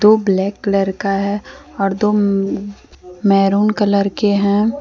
वो black colour का है और दो मैरून कलर के हैं।